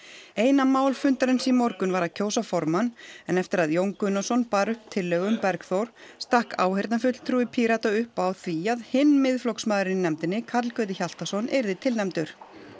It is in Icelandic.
eina mál fundarins í morgun var að kjósa formann en eftir að Jón Gunnarsson bar upp tillögu um Bergþór stakk áheyrnarfulltrúi Pírata upp á því að hinn Miðflokksmaðurinn í nefndinni Karl Gauti Hjaltason yrði tilnefndur